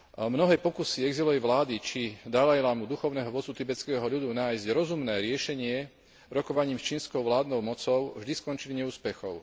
Mnohé pokusy exilovej vlády či Dalajlámu, duchovného vodcu tibetského ľudu, nájsť rozumné riešenie rokovaním s čínskou vládnou mocou vždy skončili neúspechom.